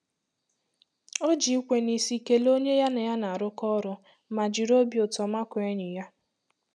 O ji ikwe n'isi kelee onye ya na ya na-arụkọ ọrụ ma jiri obi ụtọ makụọ enyi ya.